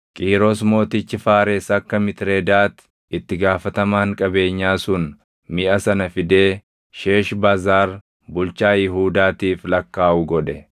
Qiiros mootichi Faares akka Mitredaat itti gaafatamaan qabeenyaa sun miʼa sana fidee Sheeshbazaar bulchaa Yihuudaatiif lakkaaʼu godhe.